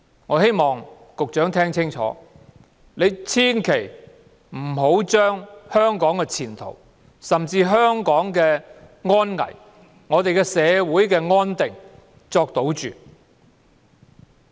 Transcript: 我希望局長聽清楚，千萬不要把香港的前途、安危和社會的安定作賭注。